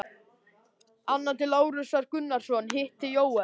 Annað til Lárusar Gunnarssonar, hitt til Jóels.